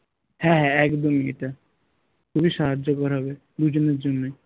হ্যাঁ হ্যাঁ একদমই এটা খুবই সাহায্যকর হবে দুজনের জন্যই